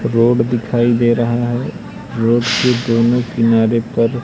road दिखाई दे रहा है रोड के दोनों किनारे पर--